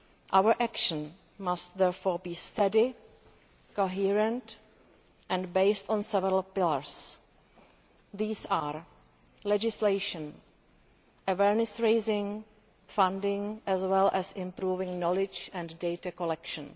Our action must therefore be steady, coherent and based on several pillars. These are legislation, awareness raising and funding, as well as improving knowledge and data collection.